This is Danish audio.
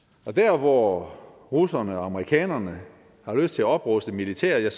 og hvor russerne og amerikanerne har lyst til at opruste militært